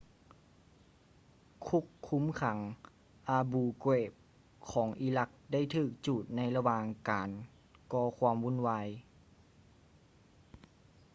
ຄຸກຄຸມຂັງ abu ghraib ຂອງອີຣັກໄດ້ຖືກຈູດໃນລະຫວ່າງການກໍຄວາມວຸ້ນວາຍ